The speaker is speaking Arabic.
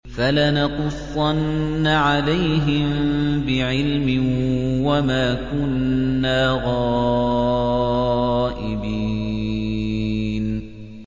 فَلَنَقُصَّنَّ عَلَيْهِم بِعِلْمٍ ۖ وَمَا كُنَّا غَائِبِينَ